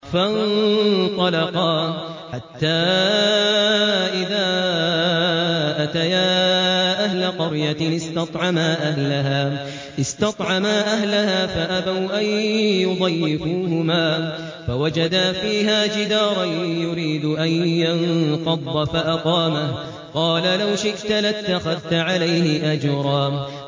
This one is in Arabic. فَانطَلَقَا حَتَّىٰ إِذَا أَتَيَا أَهْلَ قَرْيَةٍ اسْتَطْعَمَا أَهْلَهَا فَأَبَوْا أَن يُضَيِّفُوهُمَا فَوَجَدَا فِيهَا جِدَارًا يُرِيدُ أَن يَنقَضَّ فَأَقَامَهُ ۖ قَالَ لَوْ شِئْتَ لَاتَّخَذْتَ عَلَيْهِ أَجْرًا